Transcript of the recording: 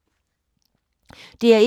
DR1